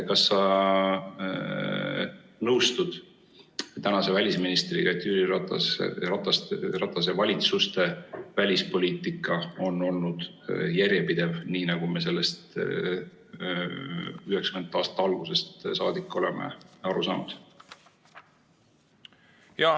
Kas sa nõustud tänase välisministriga, et Jüri Ratase valitsuste välispoliitika oli järjepidev, nii nagu me sellest 1990. aastate algusest saadik oleme aru saanud?